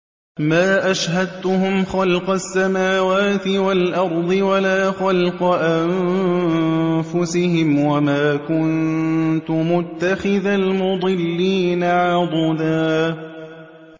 ۞ مَّا أَشْهَدتُّهُمْ خَلْقَ السَّمَاوَاتِ وَالْأَرْضِ وَلَا خَلْقَ أَنفُسِهِمْ وَمَا كُنتُ مُتَّخِذَ الْمُضِلِّينَ عَضُدًا